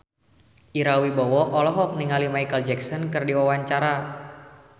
Ira Wibowo olohok ningali Micheal Jackson keur diwawancara